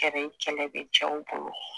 Kɛlɛ bɛ cɛw bolo.